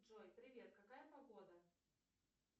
джой привет какая погода